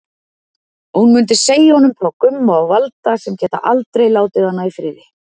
Hún mundi segja honum frá Gumma og Valda sem geta aldrei látið hana í friði.